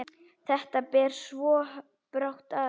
Þetta ber svo brátt að.